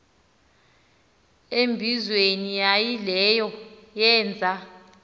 embizweni yaayileyo yeenza